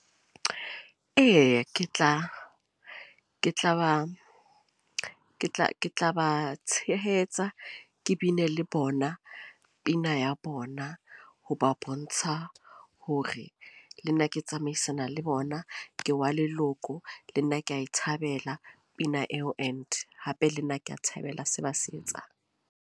Eya ke tla ba tshehetsa ke bine le bona pina ya bona. Ho ba bontsha hore le nna ke tsamaisana le bona. Ke wa leloko. Le nna ke a e thabela pina eo. And hape le nna ke a thabela se ba se etsang.